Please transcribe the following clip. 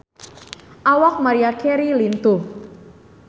Awak Maria Carey lintuh